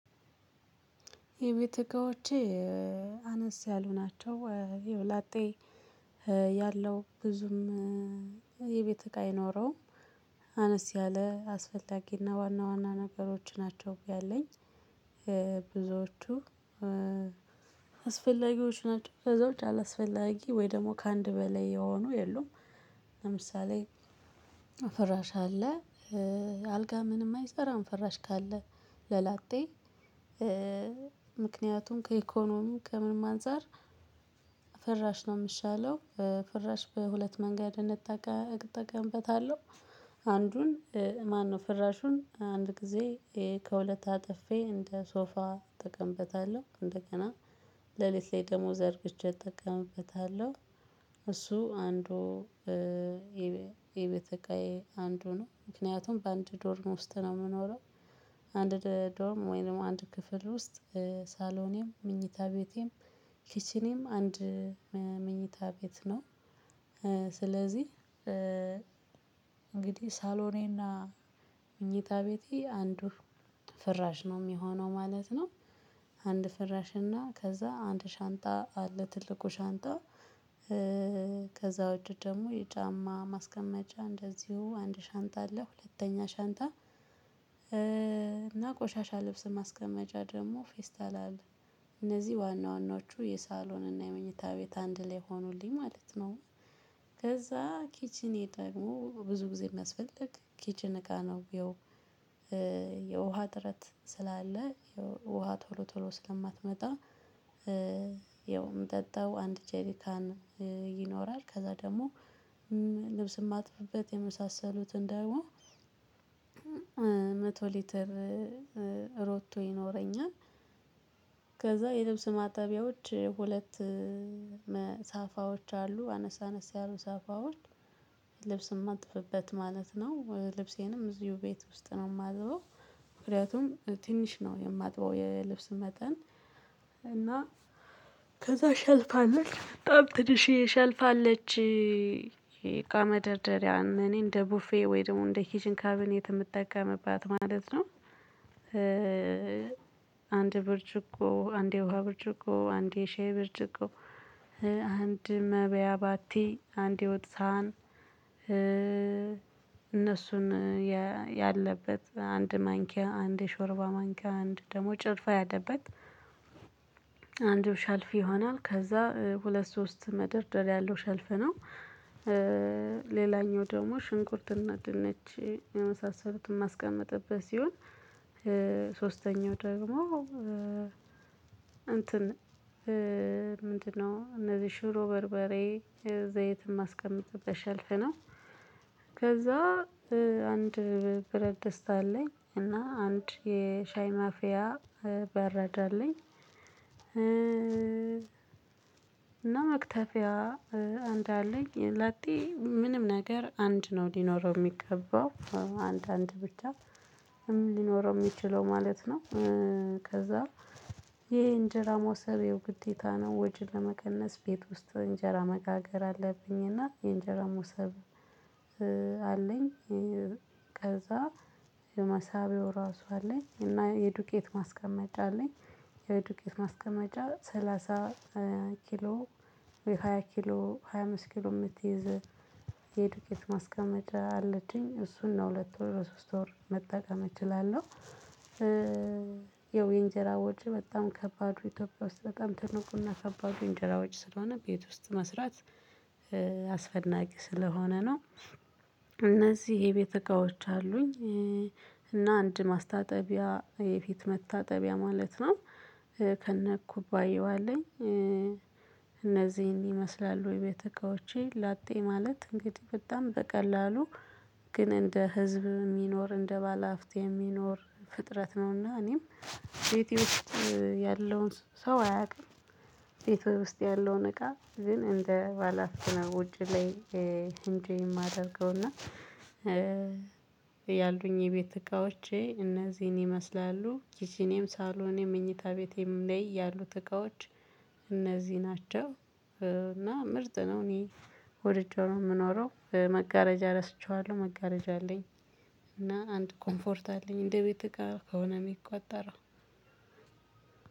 የቤተ እቃዎቼ አነስ ያሉ ናቸው። ያው ላጤ ያለው ብዙም የቤት እቃ አይኖረውም። አነስ ያለ አስፈላጊና ዋና ዋና ነገሮች ናቸው። ያለኝ ብዙዎቹ አስፈላጊዎች ናቸው። ከዛውጭ አላስፈላጊ ወይ ደግሞ ከአንድ በላይ የሆኑ የሉም። ለምሳሌ ፍራሽ አለ አልጋ ምንም አይሰራም ፍራሽ ካለ ለላጤ ምክንያቱም ከኢኮኖሚው ከምንም አንፃር ፍራሽ ነው የሚሻለው። ፍራሽ በሁለት መንገድ እጠቀምበታለሁ። አንዱን ማነው ፍራሹን አንድ ጊዜ ከሁለት አጥፌ እንደ ሶፋ እጠቀምበታለሁ እንደገና ሌሊት ላይ ደሞዝ ዘርግቼ እጠቀምበታለሁ። እሱ አንዱ የቤተ እቃዬ አንዱ ነው። ምክንያቱም በአንድ ዶርም ውስጥ ነው የምኖረው። አንድ ዶርም ወይንም አንድ ክፍል ውስጥ ሳሎኔም ምኝታ ቤቴም ኪችኔም አንድ ምኝታ ቤት ነው። ስለዚህ እንግዲህ ሳሎኔና ምኝታ ቤቴ አንዱ ፍራሽ ነው የሚሆነው ማለት ነው። አንድ ፍራሽ እና ከዛ አንድ ሻንጣ አለ ትልቁ ሻንጣ። ከዛ ውጪ ደግሞ የጫማ ማስቀመጫ እንደዚሁ አንድ ሻንጣ አለ ሁለተኛ ሻንጣ። እና ቆሻሻ ልብስ ማስቀመጫ ደግሞ ፌስታል አለ። እነዚህ ዋና ዋናዎቹ የሳሎን እና የመኝታ ቤት አንድ ላይ ሆኑልኝ ማለት ነው። ከዛ ኪችኔ ደግሞ ብዙ ጊዜ የሚያስፈልግ ኪችን እቃ ነው። የውሃ ጥረት ስላለ ውሃ ቶሎ ቶሎ ስለማትመጣ የምጠጣው አንድ ጄሪካን ይኖራል። ከዛ ደግሞ ልብስ የማጥብበት የመሳሰሉትን ደግሞ መቶ ሊትር ሮቶ ይኖረኛል። ከዛ የልብስ ማጠቢያዎች ሁለት ሳፋዎች አሉ አነስ አነስ ያሉ ሳፋዎች። ልብስም አማጥብበት ማለት ነው ልብሴንም እዚሁ ቤት ውስጥ ነው የማጥበው። ምክንያቱም ትንሽ ነው የማጥበው የልብስ መጠን። እና ከዛ ሸልፋ አለች በጣም ትንሼ ሸልፍ አለች። የእቃ መደርደሪያ እኔ እንደ ቡፌ ወይ ደግሞ እንደ ኪዥን ካብኔት የምጠቀምባት ማለት ነው። አንድ ብርጭቆ አንድ የውሃ ብርጭቆ አንድ የሻይ ብርጭቆ። አንድ መበያ ባቲ አንድ የወት ሳህን። እነሱን ያለበት አንድ ማንኪያ አንድ ሾርባ ማንኪያ አንድ ደግሞ ጭልፋ ያለበት። አንድ ሻልፊ ይሆናል ከዛ ሁለት ሶስት ምደርደርያ ያለው ሸልፍ ነው። ሌላኛው ደግሞ ሽንኩርትና ድንች የመሳሰሉትን ማስቀመጥበት ሲሆን ሶስተኛው ደግሞ እንትን ምንድነው እነዚህ ሽሮ በርበሬ የዘይት የማስቀምጥበት ሸልፍ ነው። ከዛ አንድ ብረት ደስታ አለኝ እና አንድ የሻይ ማፊያ በረዳ አለኝ። እና መክተፊያ አንድ አለኝ ላጤ ምንም ነገር አንድ ነው ሊኖረው የሚገባው አንዳንድ ብቻ ሊኖረው የሚችለው ማለት ነው። ከዛ ይሄ እንጀራ መውሰቤ ግዴታ ነው ወጭን ለመቀነስ ቤት ውስጥ እንጀራ መጋገር አለብኝና የእንጀራ ሙሰብ አለኝ። ከዛ የመሳቢያው ራሱ አለኝ እና የዱቄት ማስቀመጫ አለኝ። የዱቄት ማስቀመጫ ሰላሳ ኪሎ ወይ ሃያ ኪሎ ሃያ አምስት ኪሎ የምትይዝ የዱቄት ማስቀመጫ አለችኝ እሱን ነው ሁለት ወር ሶስት ወር መጠቀም እችላለሁ። ይኸው የእንጀራ ወጪ በጣም ከባዱ ኢትዮጵያ ውስጥ በጣም ትልቁና ከባዱ የእንጀራ ወጪ ስለሆነ ቤት ውስጥ መስራት አስፈላጊ ስለሆነ ነው። እነዚህ የቤተ እቃዎች አሉኝ። እና አንድ ማስታጠቢያ የፊት መታጠቢያ ማለት ነው። ከነ ኩባያው አለኝ እነዚህን ይመስላል የቤት እቃዎቼ ላጤ ማለት እንግዲህ በጣም በቀላሉ ግን እንደ ህዝብ የሚኖር እንደ ባለአፍት የሚኖር ፍጥረት ነውና እኔም ቤቴ ውስጥ ያለውን ሰው አያውቅም። ቤት ውስጥ ያለውን እቃ ግን እንደ ባላሀብት ነው። ውጪ ላይ ኢነጆይ የማደርገውና። ያሉኝ የቤት እቃዎቼ እነዚህን ይመስላሉ። ኪቺኔም ሳሎኔም መኝታ ቤቴም ላይ ያሉት እቃዎች እነዚህ ናቸው። እና ምርጥ ነው እኔ ወድጄ ነው የምኖረው መጋረጃ ረስቼዋለሁ መጋረጃ አለኝ። እና አንድ ኮምፎርት አለኝ እንደ እቤት እቃ ከሆነ የሚቆጠረው።